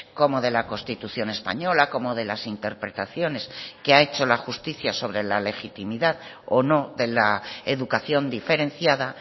como de la constitución española como de las interpretaciones que ha hecho la justicia sobre la legitimidad o no de la educación diferenciada